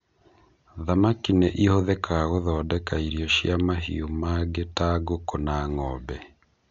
Thamaki nĩ ihuthĩkaga gũthondeka irio cia mahiũ mangĩ ta ngũkũ na ng'ombe.